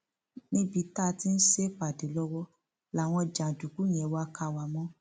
níbi tá a ti ń ṣèpàdé lọwọ làwọn jàǹdùkú yẹn wàá kà wá mọ